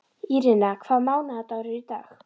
Írena, hvaða mánaðardagur er í dag?